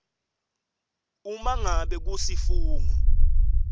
uma ngabe kusifungo